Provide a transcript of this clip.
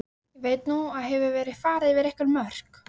Veit að nú hefur verið farið yfir einhver mörk.